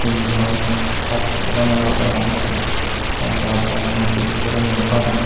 tinnos passo janala degong tey arw degong dup guriney gor an.